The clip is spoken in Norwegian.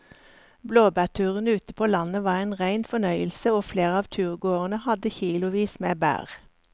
Blåbærturen ute på landet var en rein fornøyelse og flere av turgåerene hadde kilosvis med bær.